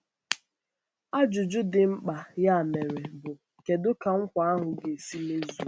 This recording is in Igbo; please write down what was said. Ajụjụ dị mkpa, ya mere, bụ: Kedu ka nkwa ahụ ga-esi mezuo?